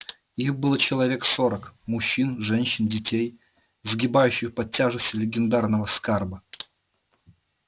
их было человек сорок мужчин женщин детей сгибавшихся под тяжестью лагерного скарба